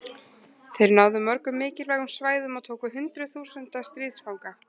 Þeir náðu mörgum mikilvægum svæðum og tóku hundruð þúsunda stríðsfanga.